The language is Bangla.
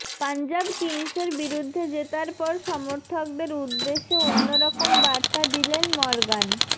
পাঞ্জাব কিংসের বিরুদ্ধে জেতার পর সমর্থকদের উদ্দেশে অন্যরকম বার্তা দিলেন মর্গান